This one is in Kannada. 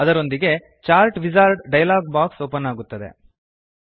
ಅದರೊಂದಿಗೆಯೇ chart wizard dialogue box open ಅಗಿರುತ್ತದೆ